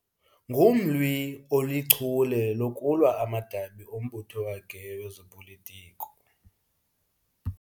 Ngumlwi olichule lokulwa amadabi ombutho wakhe wezopolitiko.